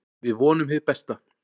Við vonum hið besta.